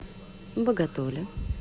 боготоле